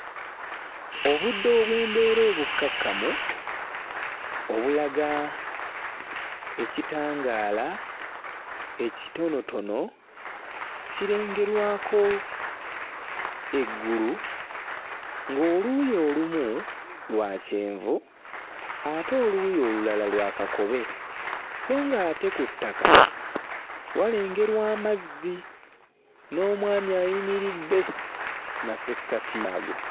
Obudde obw'embeera obukkakkamu obulaga ekitangaala ekitonotono kirengerwako eggulu ng'oluuyi olumu lwa kyenvu ate oluuyi olulala lwa kakobe sso ng'ate ku ttaka walengerwa amazzi n'omwami ayimiridde mmasekkati ago.